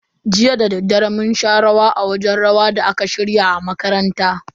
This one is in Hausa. Jiya dadaddare mun sha rawa a wajen rawa da aka shirya a makaranta.